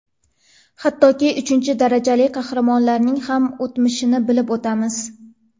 Hattoki uchinchi darajali qahramonlarning ham o‘tmishini bilib o‘tamiz.